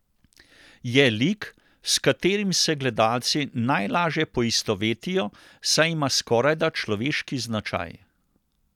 Je lik, s katerim se gledalci najlaže poistovetijo, saj ima skorajda človeški značaj.